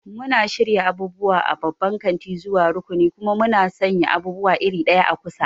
Muna shirya abubuwa a babban kanti zuwa rukuni, kuma muna sanya abubuwa iri ɗaya a kusa.